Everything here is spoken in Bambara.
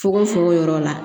Fukofoko yɔrɔ la